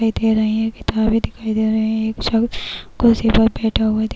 बैठे रहे है। किताबें दिखाई दे रहे है। एक शख्स कुर्सी पर बैठा हुवा दिख --